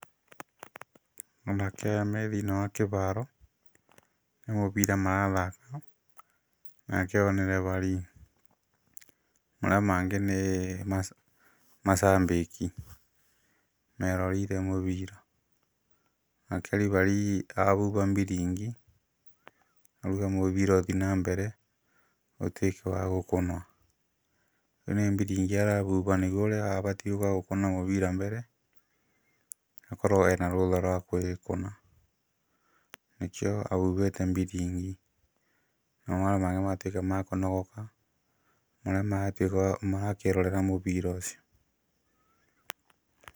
Anake aya me thĩinĩ wa kĩharo nĩ mũbira marathaka, nake ũyũ nĩ refarii maria mangĩ nĩ macambĩki meroreire mũbira, nake refarii ahuha biringi auga mũbira ũthiĩ na mbere ũtuĩke wa gũkũnwa. Rĩu nĩ biringi arahuha nĩguo ũrĩa ũbatie gũka gũkũna mũbira mbere akorwo arĩ na rũtha rwa kũũkũna. Nĩkĩo ahuhĩte biringi nao arĩa matuĩka a kũnogoka arĩa marakĩrorera mũbira ũcio.